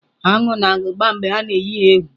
Aṅụ na-agba mgbe a na-eyi ha egwu.